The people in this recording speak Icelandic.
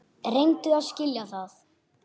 Reyndu að skilja það!